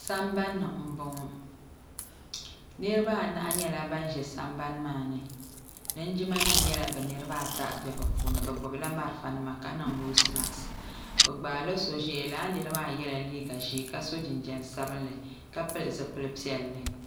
sambanni n bɔŋɔ niraba anahi nyɛla ban ʒɛ sambani maa ni linjima nim nyɛla bi niraba ata bɛ bi puuni bi gbubila marafa nima ka niŋ noos mask bi gbaala so ʒɛya laa nira maa yɛla liiga ʒiɛ ka so jinjɛm sabinli ka pili zipili piɛlli